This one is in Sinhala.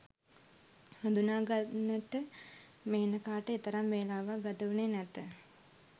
හඳුනාගන්නට මේනකාට එතරම් වේලාවක්‌ ගත වුණේ නැත